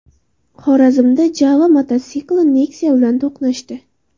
Xorazmda JAWA mototsikli Nexia bilan to‘qnashdi.